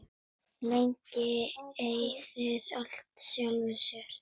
Lygin eyðir alltaf sjálfri sér.